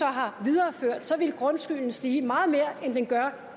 har videreført ville grundskylden stige meget mere end den gør